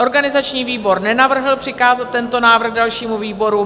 Organizační výbor nenavrhl přikázat tento návrh dalšímu výboru.